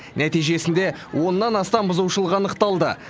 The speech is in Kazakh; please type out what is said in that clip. нәтижесінде оннан астам бұзушылық анықталды